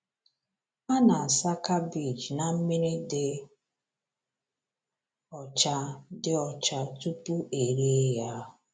A na-asa kabeeji na mmiri dị ọcha dị ọcha tupu e ree ya.